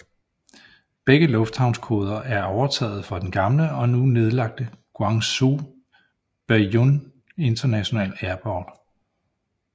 Begge lufthavnskoder er overtaget fra den gamle og nu nedlagte Guangzhou Baiyun International Airport